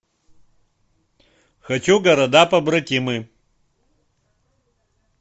хочу города побратимы